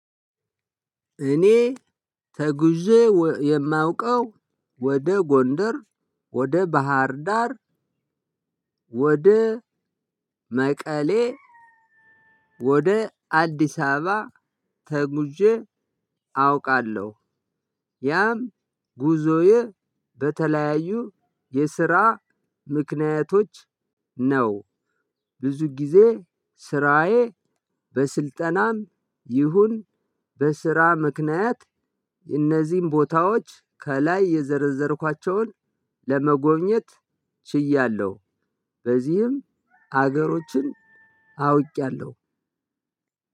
እኔ ተጉዤ የማውቀው ወደ ጎንደር ወደ ባህር ዳር ወደ መቀሌ ወደ አዲስ አበባ ተጉዤ አውቃለሁ። ያም ጉዞዬ በተለያዩ የስራ ምክንያቶች ነው። ብዙ ጊዜ ስራዬ በስልጠናም ይሁን በስራ ምክንያት አነዚህ ቦታዎች ከላይ የዘረዘርኳቸውን ለመጎብኘት ችያለሁ ለዚህም አገሮችን አውቂያለሁ።